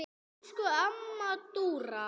Elsku amma Dúra.